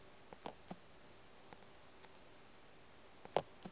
di be di laola ka